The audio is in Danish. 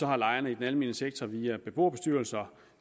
har lejerne i den almene sektor via beboerbestyrelser